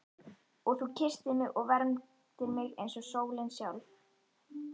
Og þú kysstir mig og vermdir eins og sólin sjálf.